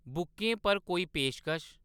बुकें पर कोई पेशकश ?